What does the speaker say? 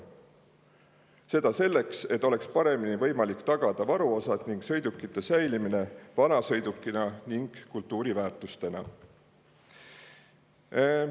Seda selleks, et oleks paremini võimalik tagada varuosad ning sõidukite säilimine vanasõidukina ning kultuuriväärtusena.